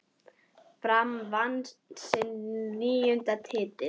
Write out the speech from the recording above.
Fram vann sinn níunda titil.